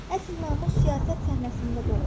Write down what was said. Əsl namus siyasət səhnəsində doğulur.